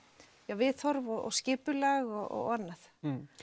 viðhorf og skipulag og annað